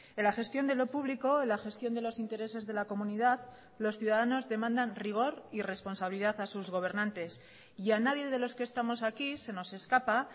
en la gestión de lo público en la gestión de los intereses de la comunidad los ciudadanos demandan rigor y responsabilidad a sus gobernantes y a nadie de los que estamos aquí se nos escapa